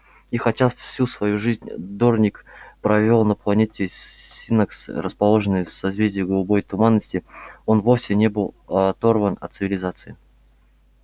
и хотя всю свою жизнь дорник провёл на планете синнакс расположенной в созвездии голубой туманности он вовсе не был оторван от цивилизации